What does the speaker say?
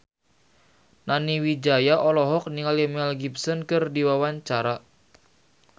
Nani Wijaya olohok ningali Mel Gibson keur diwawancara